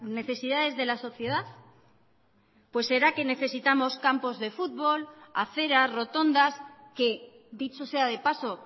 necesidades de la sociedad pues será que necesitamos campos de futbol aceras rotondas que dicho sea de paso